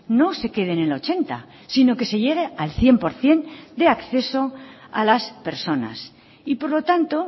no se queden en ochenta sino que se llegue al cien por ciento de acceso a las personas y por lo tanto